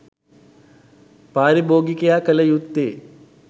පාරිභෝගිකයා කළ යුත්තේ